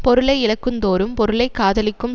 பொருளை இழக்குந்தோறும் பொருளை காதலிக்கும்